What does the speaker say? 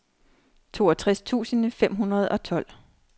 toogtres tusind fem hundrede og tolv